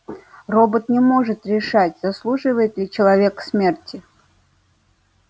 робот не может решать заслуживает ли человек смерти